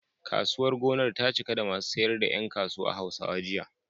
Kasuwar gonar ta cika da masu sayar da ƴan kasuwa Hausawa, jiya.